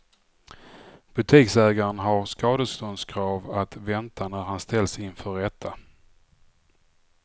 Butiksägaren har skadeståndskrav att vänta när han ställs inför rätta.